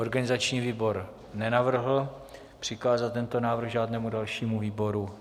Organizační výbor nenavrhl přikázat tento návrh žádnému dalšímu výboru.